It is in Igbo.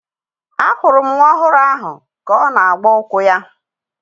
A hụrụ nwa ọhụrụ ahụ ka ọ na-agba ụkwụ ya